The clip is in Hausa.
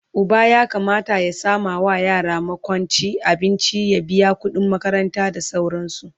Uba ya Kamata ya samawa yara makwanci, abinci, ya biya kudin makaranta da sauransu